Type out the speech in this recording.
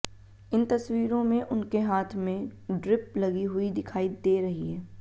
इन तस्वीरों में उनके हाथ में ड्रिप लगी हुई दिखाई दे रही है